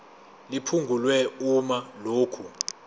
liphungulwe uma lokhu